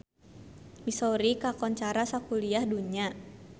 Missouri kakoncara sakuliah dunya